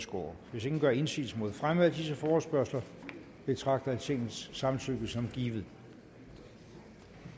hvis ingen gør indsigelse mod fremme af disse forespørgsler betragter jeg tingets samtykke som givet